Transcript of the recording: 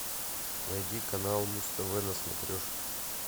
найди канал муз тв на смотрешке